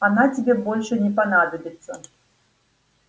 она тебе больше не понадобится